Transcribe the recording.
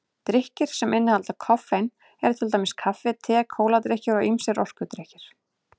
Drykkir sem innihalda koffein eru til dæmis kaffi, te, kóladrykkir og ýmsir orkudrykkir.